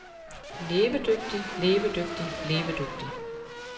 levedygtig levedygtig levedygtig